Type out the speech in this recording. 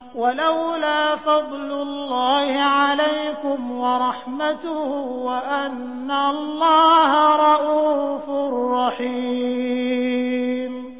وَلَوْلَا فَضْلُ اللَّهِ عَلَيْكُمْ وَرَحْمَتُهُ وَأَنَّ اللَّهَ رَءُوفٌ رَّحِيمٌ